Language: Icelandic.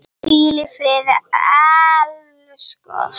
Hvíl í friði elsku Ósk.